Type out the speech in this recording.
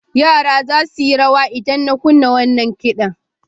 Yara za su yi rawa idan na kunna wannan kiɗan.